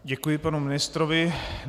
Děkuji panu ministrovi.